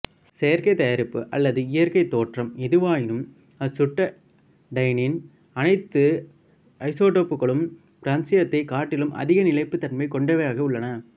செயற்கை தயாரிப்பு அல்லது இயற்கைத் தோற்றம் எதுவாயினும் அசுட்டட்டைனின் அனைத்து ஐசோடோப்புகளும் பிரான்சியத்தைக் காட்டிலும் அதிக நிலைப்புத்தன்மை கொண்டவையாக உள்ளன